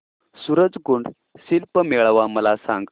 सूरज कुंड शिल्प मेळावा मला सांग